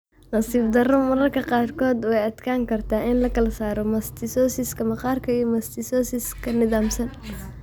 Nasiib darro, mararka qaarkood way adkaan kartaa in la kala saaro mastocytosis-ka maqaarka iyo mastocytosis nidaamsan.